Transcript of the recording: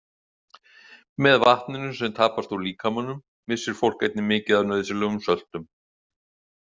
Með vatninu sem tapast úr líkamanum missir fólk einnig mikið af nauðsynlegum söltum.